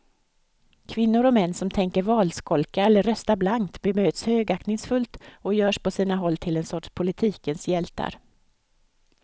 Kvinnor och män som tänker valskolka eller rösta blankt bemöts högaktningsfullt och görs på sina håll till en sorts politikens hjältar.